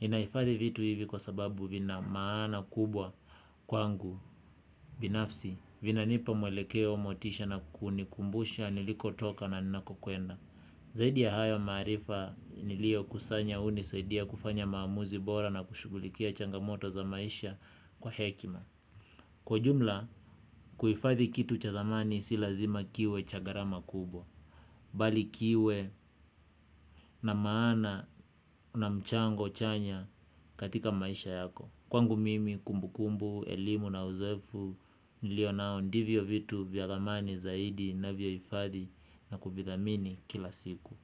Ninaifadhi vitu hivi kwa sababu vinamaana kubwa kwangu binafsi vinanipa mwelekeo motisha na kunikumbusha niliko toka na nako kuenda. Zaidi ya hayo maarifa nilio kusanya unisaidia kufanya maamuzi bora na kushugulikia changamoto za maisha kwa hekima. Kwa jumla, kuifadhi kitu cha thamani si lazima kiwe cha garama kubwa, bali kiwe na maana na mchango chanya katika maisha yako. Kwangu mimi, kumbukumbu, elimu na uzoefu, nilionao ndivyo vitu vya thamani zaidi navyoifadhi na kuvithamini kila siku.